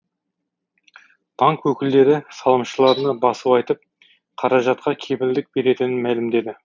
банк өкілдері салымшыларына басу айтып қаражатқа кепілдік беретінін мәлімдеді